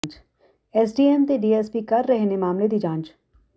SDM ਤੇ DSP ਕਰ ਰਹੇ ਨੇ ਮਾਮਲੇ ਦੀ ਜਾਂਚ